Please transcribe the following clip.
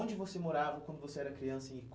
Onde você morava quando você era criança em